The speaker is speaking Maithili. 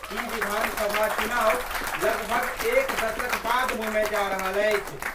ई विधानसभा चुनाव लगभग एक दशक बाद होमय जा रहल अछि।